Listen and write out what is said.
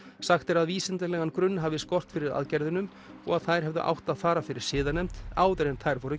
sagt er að vísindalegan grunn hafi skort fyrir aðgerðunum og að þær hefðu átt að fara fyrir siðanefnd áður en þær voru